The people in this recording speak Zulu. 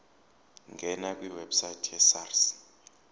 ngena kwiwebsite yesars